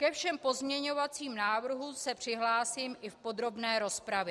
Ke všem pozměňovacím návrhům se přihlásím i v podrobné rozpravě.